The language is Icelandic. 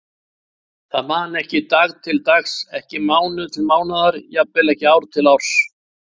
Það man ekki dag til dags, ekki mánuð til mánaðar, jafnvel ekki ár til árs.